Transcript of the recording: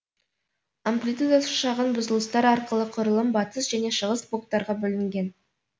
амплитудасы шағын бұзылыстар арқылы құрылым батыс және шығыс блоктарға бөлінген